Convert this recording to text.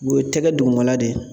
O ye tɛgɛ dugumala de ye